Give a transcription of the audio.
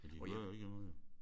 Ja de hører jo ikke andet jo